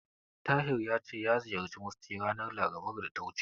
Tahir ya ce ya ziyarci Musty ranar Larabar da ta wuce.